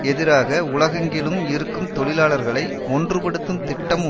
எதிராக உலகெங்கிலும் இருக்கும் தொழிலாளர்களை ஒன்றுபடுத்தும் திட்டம்